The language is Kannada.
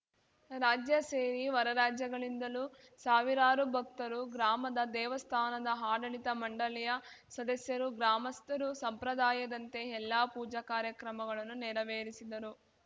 ರಾಜ್ಯ ಸೇರಿ ಹೊರರಾಜ್ಯಗಳಿಂದಲೂ ಸಾವಿರಾರು ಭಕ್ತರು ಗ್ರಾಮದ ದೇವಸ್ಥಾನದ ಆಡಳಿತ ಮಂಡಳಿಯ ಸದಸ್ಯರು ಗ್ರಾಮಸ್ಥರು ಸಂಪ್ರದಾಯದಂತೆ ಎಲ್ಲಾ ಪೂಜಾ ಕಾರ್ಯಕ್ರಮಗಳನ್ನು ನೆರವೇರಿಸಿದರು